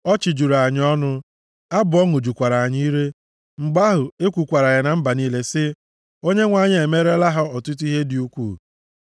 Ọchị juru anyị ọnụ, abụ ọṅụ jukwara anyị ire. Mgbe ahụ, e kwukwara ya na mba niile sị, “ Onyenwe anyị emeerela ha ọtụtụ ihe dị ukwuu.”